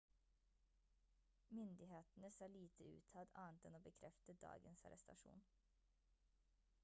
myndighetene sa lite utad annet enn å bekrefte dagens arrestasjon